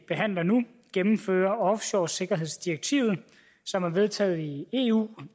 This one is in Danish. behandler nu gennemfører offshoresikkerhedsdirektivet som er vedtaget i eu